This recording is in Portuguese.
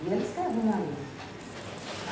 E ele escreveu na lei.